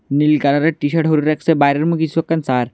নীল কালারের টি-শার্ট হরে রাখসে বাইরে মূ কিছু একখান চার।